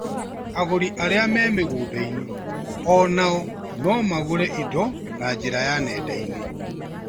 Agũri arĩa me mĩgũnda-inĩ onao no magũre indo na njĩra ya nenda-inĩ